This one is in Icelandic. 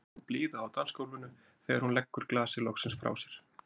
Það er logn og blíða á dansgólfinu þegar hún leggur glasið loksins frá sér.